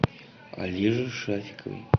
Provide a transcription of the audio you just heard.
олеже шафикове